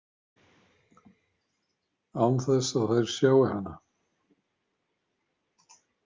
Án þess að þær sjái hana.